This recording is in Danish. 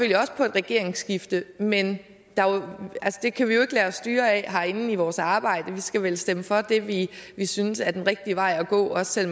regeringsskifte men det kan vi jo ikke lade os styre af herinde i vores arbejde vi skal vil stemme for det vi vi synes er den rigtige vej at gå også selv